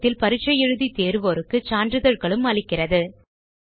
இணையத்தில் பரிட்சை எழுதி தேர்வோருக்கு சான்றிதழ்களும் தருகிறது